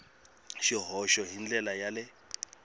swihoxo hi ndlela ya le